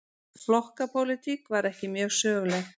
Flokkapólitík var ekki mjög söguleg.